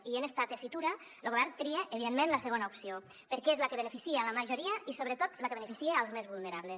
i en esta tessitura lo govern tria evidentment la segona opció perquè és la que beneficia la majoria i sobretot la que beneficia els més vulnerables